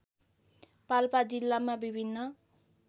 पाल्पा जिल्लामा विभिन्न